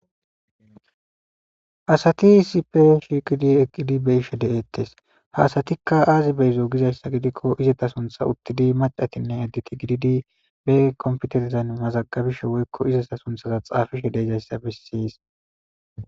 Asati sipe shiiqidi eqqidi be ishe de7ettes haasatikka aazi beyzo gizayssa gidikko izeta suntha uttidi macatinne edditi gididi be komputeizan mazagabishe woykko izeta sunthaza xaafishe deezayssa bessis